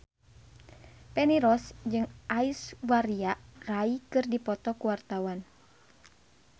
Feni Rose jeung Aishwarya Rai keur dipoto ku wartawan